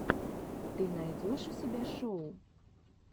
ты найдешь у себя шоу